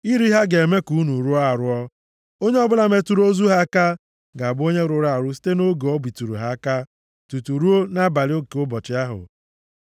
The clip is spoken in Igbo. “ ‘Iri ha ga-eme ka unu rụọ arụọ. Onye ọbụla metụrụ ozu ha aka ga-abụ onye rụrụ arụ site nʼoge o bitụrụ ha aka tutu ruo nʼabalị nke ụbọchị ahụ.